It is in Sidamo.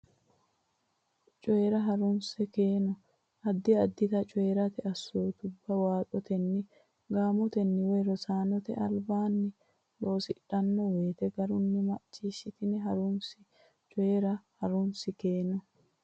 Coyi ra Ha runsi keeno addi addita coyi rate assootubba waaxotenni gaamotenni woy rosaanote albaanni loosidhanno woyte garunni macciishshitanni ha runsi Coyi ra Ha runsi keeno.